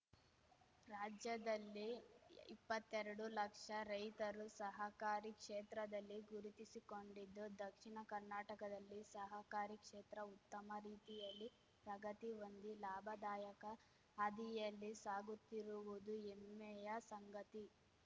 ರಾಜ್ಯದಲ್ಲಿ ಇಪ್ಪತ್ತೆರಡು ಲಕ್ಷ ರೈತರು ಸಹಕಾರಿ ಕ್ಷೇತ್ರದಲ್ಲಿ ಗುರುತಿಸಿಕೊಂಡಿದ್ದು ದಕ್ಷಿಣ ಕರ್ನಾಟಕದಲ್ಲಿ ಸಹಕಾರಿ ಕ್ಷೇತ್ರ ಉತ್ತಮ ರೀತಿಯಲ್ಲಿ ಪ್ರಗತಿ ಹೊಂದಿ ಲಾಭದಾಯಕ ಹಾದಿಯಲ್ಲಿ ಸಾಗುತ್ತಿರುವುದು ಎಮ್ಮೆಯ ಸಂಗತಿ